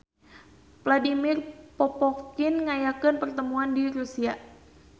Vladimir Popovkin ngayakeun pertemuan di Rusia